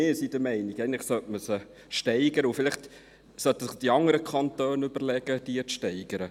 Wir sind der Meinung, dass man diese eigentlich steigern sollte und sich vielleicht die anderen Kantone überlegen sollten, diese zu steigern.